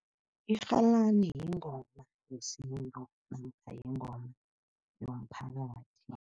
Irhalani yingoma yesintu namkha yingoma yomphakathi.